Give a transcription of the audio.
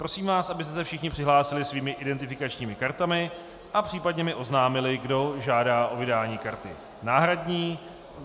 Prosím vás, abyste se všichni přihlásili svými identifikačními kartami a případně mi oznámili, kdo žádá o vydání karty náhradní.